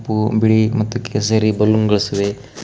ಬಿಳಿ ಮತ್ತು ಕೇಸರಿ ಬಲೂನ್ಸ್ ಗಳು ಇವೆ.